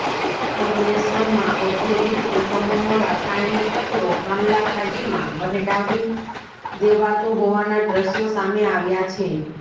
અંકલેશ્વરમાં ઔદ્યોગિક એકમોનો રાસાયણિક કચરો આમલાખાડીમાં વહેવડાવી દેવાતો હોવાના દ્રશ્યો સામે આવ્યા છે